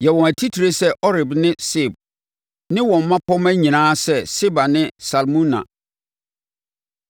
Yɛ wɔn atitire sɛ Oreb ne Seeb, ne wɔn mmapɔmma nyinaa sɛ Seba ne Salmuna,